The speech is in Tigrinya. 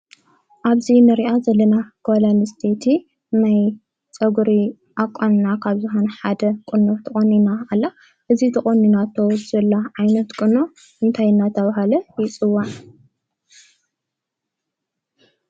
ኣብዚ እንሪኣ ዘለና ጓል አነስተይቲ ናይ ፀጉሪ ኣቛንና ካብ ዝኮነ ሓደ ቁኖ ተቆኒና ኣላ፡፡ እዚ ተቆኒናቶ ዘላ ዓይነት ቁኖ እንታይ እናተባሃለ ይፅዋዕ?